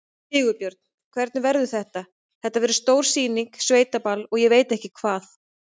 Sigurbjörn, hvernig verður þetta, þetta verður stór sýning, sveitaball og ég veit ekki hvað?